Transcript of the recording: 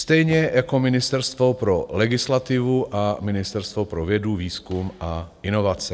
Stejně jako Ministerstvo pro legislativu a ministerstvo pro vědu, výzkum a inovace.